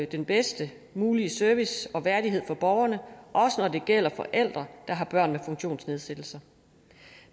den bedst mulige service og værdighed for borgerne også når det gælder forældre der har børn med funktionsnedsættelse